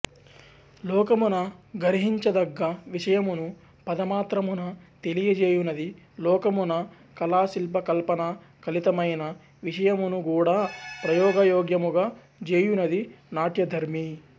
లోకమున గర్హించదగ్గ విషయమును పదమాత్రమున తెలియజేయునది లోకమున కళాశిల్పకల్పనా కలితమైన విషయమునుగూడా ప్రయోగయోగ్యముగా జేయునది నాట్యధర్మి